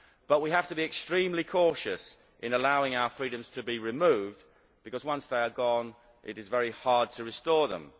However, we have to be extremely cautious in allowing our freedoms to be removed, because once they are gone it is very hard to restore them.